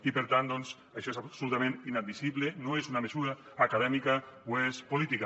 i per tant doncs això és absolutament inadmissible no és una mesura acadèmica ho és política